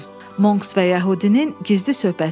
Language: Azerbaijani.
Monks və yəhudinin gizli söhbəti.